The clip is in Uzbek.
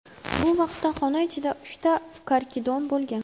Bu vaqtda xona ichida uchta karkidon bo‘lgan.